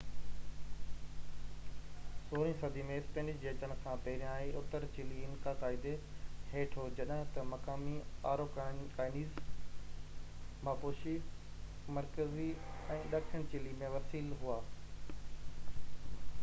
16 صدي ۾ اسپينش جي اچڻ کان پهريان، اتر چلي انڪا قائدي هيٺ هو جڏهن ته مقامي آروڪانيئنز ماپوشي مرڪزي ۽ ڏکڻ چلي ۾ وسيل هئا